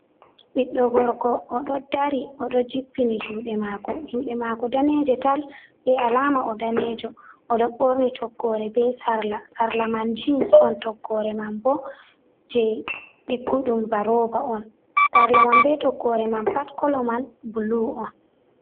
Ɓiɗdo gorko oɗo dari oɗo jippini juɗe mako. Juɗe mako daneje tal be alama o'danejo. Oɗo ɓorni toggore be sarla. sarla man jeans on, toggore man bo je digguɗum ba roba on. Sarla man be toggore man pat kolo man bulu on.